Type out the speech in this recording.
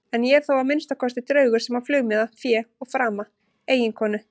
En ég er þó að minnsta kosti draugur sem á flugmiða, fé og frama, eiginkonu.